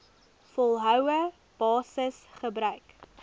volgehoue basis gebruik